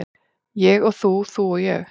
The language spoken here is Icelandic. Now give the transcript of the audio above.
Ég og þú, þú og ég.